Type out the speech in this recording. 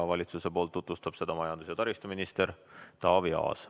Valitsuse poolt tutvustab seda majandus- ja taristuminister Taavi Aas.